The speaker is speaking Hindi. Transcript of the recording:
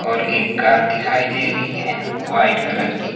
और एक कार दिखाई दे रही है वाइट कलर की।